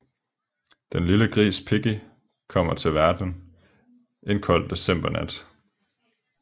Den lille gris Piggy kommer til verden en kold decembernat